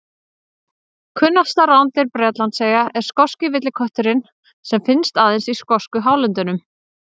Kunnasta rándýr Bretlandseyja er skoski villikötturinn sem finnst aðeins í skosku hálöndunum.